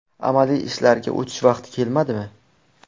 Amaliy ishlarga o‘tish vaqti kelmadimi?